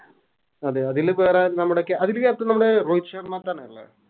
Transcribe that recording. ആഹ് അതെ അതില് വേറെ നമ്മുടെ ക്യ അതിലെ Captain നമ്മുടെ രോഹിത്ത് ശർമത്തനല്ലേ